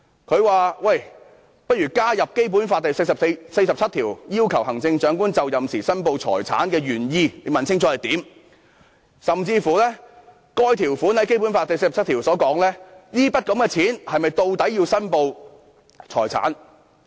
他建議加入"《基本法》第四十七條要求行政長官就任時申報財產的原意，以及該款項在《基本法》第四十七條是否屬於須予申報的財產"。